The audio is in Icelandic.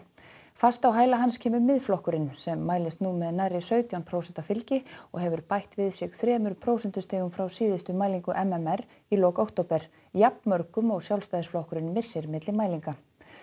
fast á hæla hans kemur Miðflokkurinn sem mælist nú með nærri sautján prósent fylgi og hefur bætt við sig þremur prósentustigum frá síðustu mælingu m m r í lok október jafnmörgum og Sjálfstæðisflokkurinn missir milli mælinga